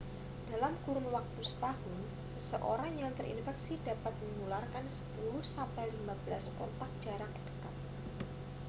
dalam kurun waktu setahun seseorang yang terinfeksi dapat menularkan 10 sampai 15 kontak jarak dekat